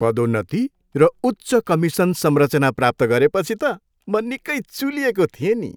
पदोन्नति र उच्च कमिसन संरचना प्राप्त गरेपछि त म निकै चुलिएको थिएँ नि।